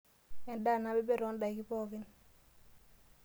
Endaa nabebek too ndaiki pookin.